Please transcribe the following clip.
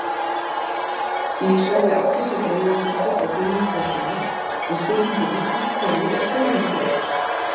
Í svari Árdísar Elíasdóttur og Gunnlaugs Björnssonar við spurningunni Af hverju er sólin til?